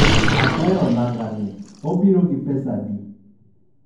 ahero nanga ni.obiro gi pesadi?